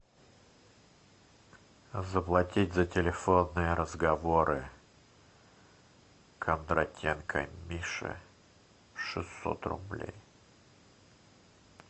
заплатить за телефонные разговоры кондратенко миши шестьсот рублей